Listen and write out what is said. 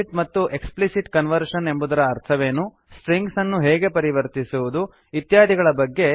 implicit ಮತ್ತು explicit conversion ಎಂಬುದರ ಅರ್ಥವೇನು ಸ್ಟ್ರಿಂಗ್ಸನ್ನು ಸಂಖ್ಯೆಗೆ ಪರಿವರ್ತಿಸುವುದು ಹೇಗೆ ಇತ್ಯಾದಿ